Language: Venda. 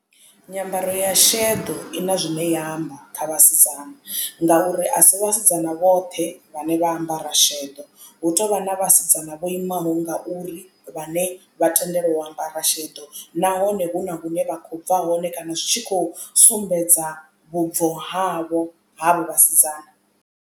Nyambaro ya shedo i na zwine ya amba kha vhasidzana ngauri a si vhasidzana vhoṱhe vhane vha ambara sheḓo hu tovha na vhasidzana vho imaho nga uri vhane vha tendelwa u ambara sheḓo nahone hu na hune vha khou bva hone kana zwi tshi khou sumbedza vhubvo havho havho vhasidzana.